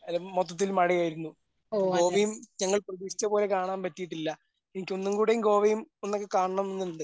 ആ മൊത്തത്തിൽ മഴയായിരുന്നു. ഇപ്പോ ഗോവയും ഞങ്ങൾ പ്രതീക്ഷിച്ച പോലെ കാണാൻ പറ്റിയിട്ടില്ല. എനിക്ക് ഒന്നുംകൂടി ഗോവയും ഒന്നൊക്കെ കാണണം എന്നുണ്ട്.